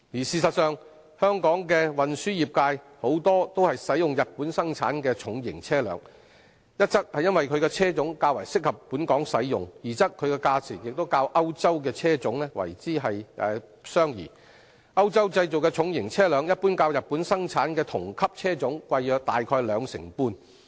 事實上，本港的運輸業界多使用日本生產的重型車輛，一則因其車種較適合本港使用，二則其價錢亦較歐洲車種相宜，歐洲製造的重型車輛一般較日本生產的同級車種貴約兩成半。